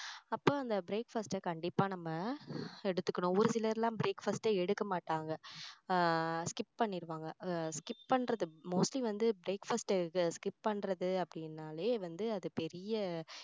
அப்போ அந்த breakfast அ கண்டிப்பா நம்ம எடுத்துக்கணும் ஒரு சிலர் எல்லாம் breakfast ஏ எடுக்க மாட்டாங்க ஆஹ் skip பண்ணிடுவாங்க skip பண்றது mostly வந்து breakfast skip பண்றது அப்படின்னாலே வந்து அது பெரிய